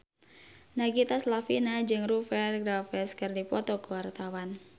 Nagita Slavina jeung Rupert Graves keur dipoto ku wartawan